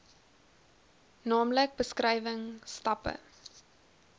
naamlik beskrywing stappe